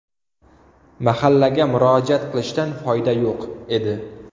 Mahallaga murojaat qilishdan foyda yo‘q edi.